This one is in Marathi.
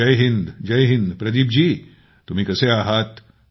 जय हिंद जय हिंद तुम्ही कसे आहात